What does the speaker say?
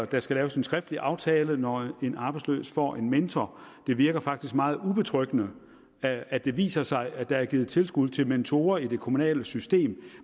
der skal laves en skriftlig aftale når en arbejdsløs får en mentor det virker faktisk meget ubetryggende at at det viser sig at der er givet tilskud til mentorer i det kommunale system